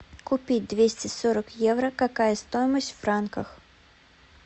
купить двести сорок евро какая стоимость в франках